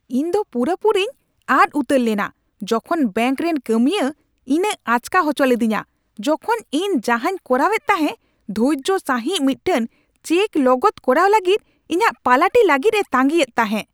ᱤᱧᱫᱚ ᱯᱩᱨᱟᱹᱼᱯᱩᱨᱤᱧ ᱟᱫ ᱩᱛᱟᱹᱨ ᱞᱮᱫᱟ ᱡᱚᱠᱷᱚᱱ ᱵᱮᱹᱝᱠ ᱨᱮᱱ ᱠᱟᱹᱢᱤᱭᱟᱹ ᱤᱧᱮ ᱟᱪᱠᱟ ᱦᱚᱪᱚ ᱞᱤᱫᱤᱧᱟ, ᱡᱚᱠᱷᱚᱱ ᱤᱧ ᱡᱟᱦᱟᱸᱧ ᱠᱚᱨᱟᱣᱮᱫ ᱛᱟᱦᱮᱸ ᱫᱷᱳᱨᱡᱚ ᱥᱟᱹᱦᱤᱡ ᱢᱤᱫᱴᱟᱝ ᱪᱮᱠ ᱞᱚᱜᱚᱫ ᱠᱚᱨᱟᱣ ᱞᱟᱹᱜᱤᱫ ᱤᱧᱟᱹᱜ ᱯᱟᱞᱟᱴᱤ ᱞᱟᱹᱜᱤᱫᱼᱮ ᱛᱟᱹᱜᱤᱸ ᱮᱫ ᱛᱟᱦᱮᱸ ᱾